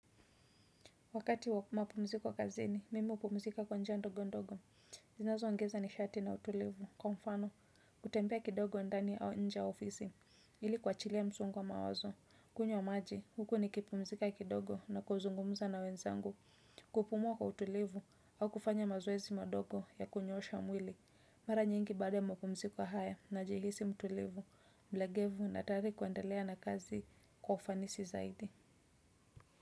Wakati wa mapumziko kazini, mimi hupumzika kwa njia ndogo ndogo, zinazo ongeza nishati na utulivu, kwa mfano, kutembea kidogo ndani au nje ya ofisi, ili kuwachilia msongo wa mawazo, kunywa maji, huku nikipumzika kidogo na kuzungumza na wenzangu, kupumua kwa utulivu, au kufanya mazoezi madogo ya kunyoosha mwili, mara nyingi baada ya mapumziko haya najihisi mtulivu, mlegevu na tayari kuendelea na kazi kwa ufanisi zaidi.